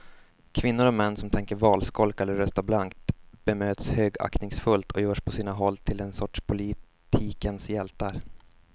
Kvinnor och män som tänker valskolka eller rösta blankt bemöts högaktningsfullt och görs på sina håll till en sorts politikens hjältar.